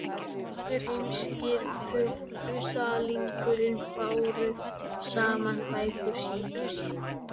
Vesturheimskir puttalingar báru saman bækur sínar.